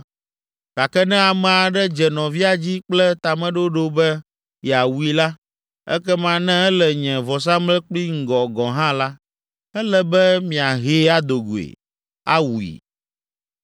Gake ne ame aɖe dze nɔvia dzi kple tameɖoɖo be yeawui la, ekema ne ele nye vɔsamlekpui ŋgɔ gɔ̃ hã la, ele be miahee ado goe, awui.